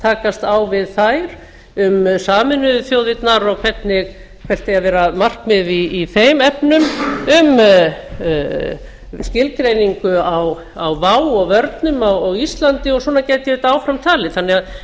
takast á við þær um sameinuðu þjóðirnar og hvert eigi að vera markmiðið í þeim efnum um skilgreiningu á vá og vörnum á íslandi og svona gæti ég áfram talið